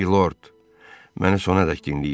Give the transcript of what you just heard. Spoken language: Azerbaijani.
Milord, məni sonadək dinləyin.